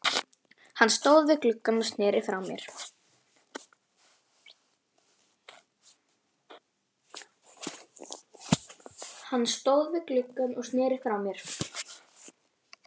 Hann stóð við gluggann og sneri frá mér.